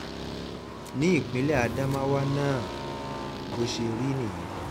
ní ìpínlẹ̀ ádámáwà náà bó náà bó ṣe rí nìyẹn